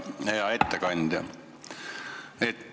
Hea ettekandja!